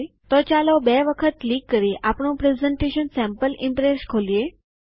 તો પ્રથમ ચાલો બે વખત ક્લિક કરી આપણું પ્રેઝન્ટેશન ઉદાહરણ ખોલીએ